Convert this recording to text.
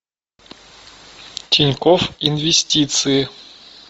тинькофф инвестиции